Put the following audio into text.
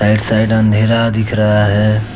एक साइड अंधेरा दिख रहा है।